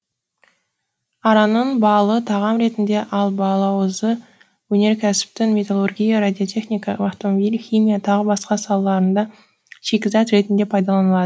араның балы тағам ретінде ал балауызы өнеркәсіптің металлургия радиотехника автомобиль химия тағы басқа салаларында шикізат ретінде пайдаланылады